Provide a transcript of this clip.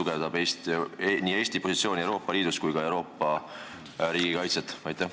Kuidas see tugevdab Eesti positsiooni Euroopa Liidus ja ka Euroopa riikide kaitset?